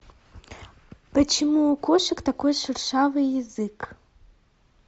почему у кошек такой шершавый язык